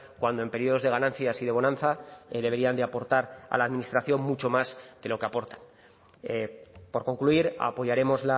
cuando en periodos de ganancias y de bonanza deberían de aportar a la administración mucho más de lo que aportan por concluir apoyaremos